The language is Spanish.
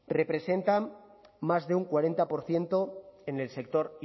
representan más de un cuarenta por ciento en el sector